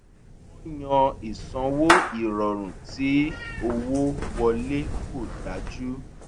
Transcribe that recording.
wọ́n yan ìsanwó ìrọ̀rùn tí owó wọlé kò dájú